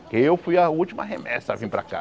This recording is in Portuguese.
Que eu fui a última remessa a vir para cá.